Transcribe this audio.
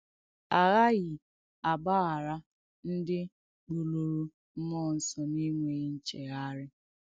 A ghaàghì àgbàghàrà ndí kpùlùrù m̀múọ̀ ǹsọ̀ n’ènwèghì ǹchèghàrị̀.